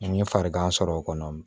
N ye farigan sɔrɔ o kɔnɔ